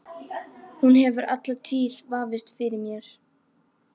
Hún hefur alla tíð vafist fyrir mér.